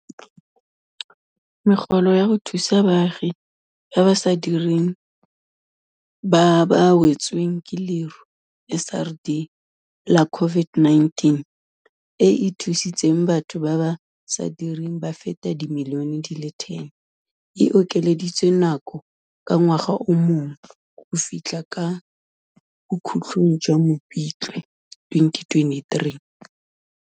Megolo ya go Thusa Baagi ba ba sa Direng ba ba Wetsweng ke Leru, SRD, la COVID-19, e e thusitseng batho ba ba sa direng ba feta dimilione di le 10, e okeleditswe nako ka ngwaga o mongwe go fitlha kwa bokhutlong jwa Mopitlwe 2023.